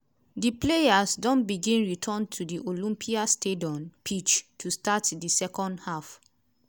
di players don begin return to di olympiastadion pitch to start di second half.